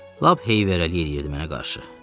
Lap heyvərəlik eləyirdi mənə qarşı.